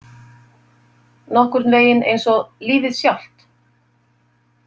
Nokkurn veginn eins og lífið sjálft.